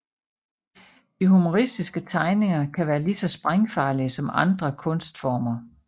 De humoristiske tegninger kan være lige så sprængfarlige som andre kunstformer